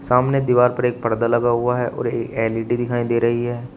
सामने दीवार पर एक पर्दा लगा हुआ है और एल_ई_डी दिखाई दे रही है।